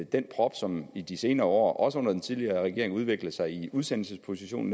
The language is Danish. den prop som i de senere år også under den tidligere regering udviklede sig i udsendelseproceduren